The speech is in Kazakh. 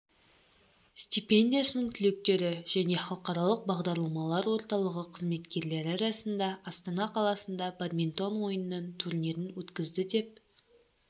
стипендиясының түлектері және халықаралық бағдарламалар орталығы қызметкерлері арасында астана қаласында бадминтон ойынынан турнирін өткізді деп